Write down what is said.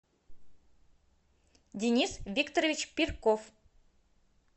денис викторович пирков